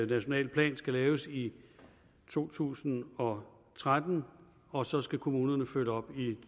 nationale plan skal laves i to tusind og tretten og så skal kommunerne følge op i